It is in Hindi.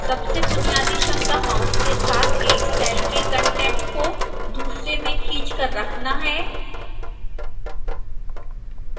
सबसे बुनियादी क्षमता mouse के साथ एक cell के कंटेंट को दूसरे में खींच कर रखना है